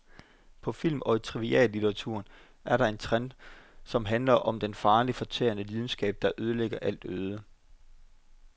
På film og i triviallitteraturen er der en trend, som handler om den farlige, fortærende lidenskab, der lægger alt øde.